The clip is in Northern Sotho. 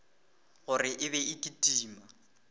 gore e be e kitima